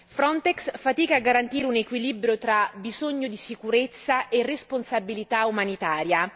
Frontex fatica a garantire un equilibrio tra bisogno di sicurezza e responsabilità umanitaria.